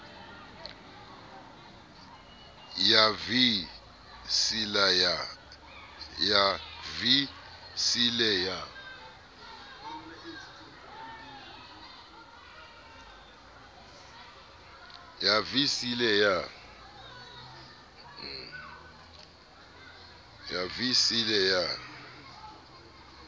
ya vii c le ya